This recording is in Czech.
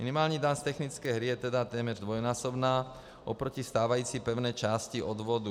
Minimální daň z technické hry je tedy téměř dvojnásobná oproti stávající pevné části odvodu.